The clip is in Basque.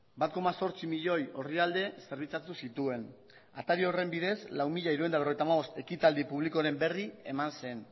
zituen bat koma zortzi milioi orrialde zerbitzatu atari horren bidez lau mila hirurehun eta berrogeita hamabost ekitaldi publikoren berri eman zen